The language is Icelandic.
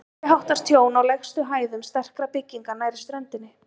Meiriháttar tjón á lægstu hæðum sterkra bygginga nærri ströndinni.